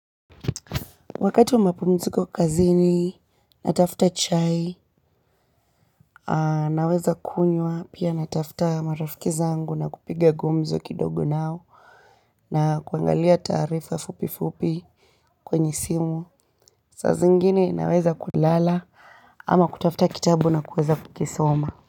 Wakati wa mapumziko kazini, natafuta chai, naweza kunywa, pia natafuta marafiki zangu na kupiga gumzo kidogo nao na kuangalia taarifa fupi fupi kwenye simu. Saa zingine naweza kulala ama kutafuta kitabu na kuweza kukisoma.